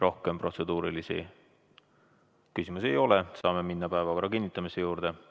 Rohkem protseduurilisi küsimusi ei ole ja saame minna päevakorra kinnitamise juurde.